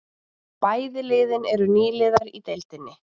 Bæði liðin eru nýliðar í deildinni